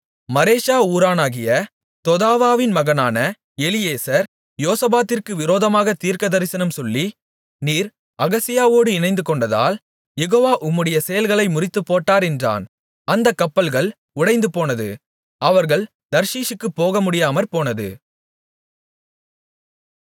Mareshah ஊரானாகிய தொதாவாவின் மகனான எலியேசர் யோசபாத்திற்கு விரோதமாகத் தீர்க்கதரிசனம் சொல்லி நீர் அகசியாவோடு இணைந்துகொண்டதால் யெகோவா உம்முடைய செயல்களை முறித்துப்போட்டார் என்றான் அந்தக் கப்பல்கள் உடைந்துபோனது அவர்கள் தர்ஷீசுக்குப் போகமுடியாமற்போனது